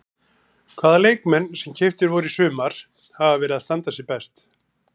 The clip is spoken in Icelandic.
Hvaða leikmenn sem keyptir voru í sumar hafa verið að standa sig best?